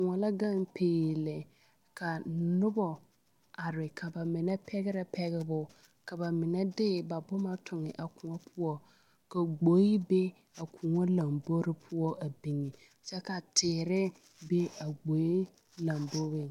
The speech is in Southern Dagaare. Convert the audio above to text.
Koɔ la gaŋ peee lɛ ka noba are ka ba mine pɛgrɛ pegre ka ba mine de boma toŋe a koɔ poɔ ka gboe be a koɔ lambori poɔ a biŋe kyɛ ka teere be a gboe lamboriŋ.